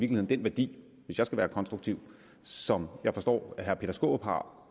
den værdi hvis jeg skal være konstruktiv som jeg forstår at herre peter skaarup har